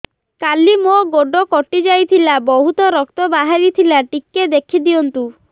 କାଲି ମୋ ଗୋଡ଼ କଟି ଯାଇଥିଲା ବହୁତ ରକ୍ତ ବାହାରି ଥିଲା ଟିକେ ଦେଖି ଦିଅନ୍ତୁ